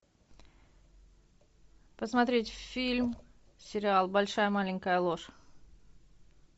посмотреть фильм сериал большая маленькая ложь